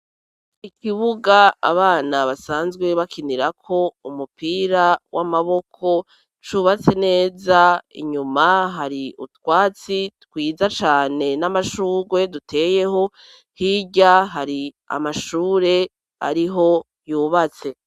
Ikibuga abana basanzwe bakinirako umupira w'amaboko, cubatse neza, inyuma hari utwatsi twiza cane n'amashugwe duteyeho, hirya hari amashure ariho yubatse.